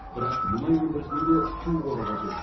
бірақ мұнай өндірісіне де су қоры қажет